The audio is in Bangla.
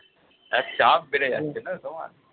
হ্যাঁ চাপ বেড়ে যাচ্ছে না তোমার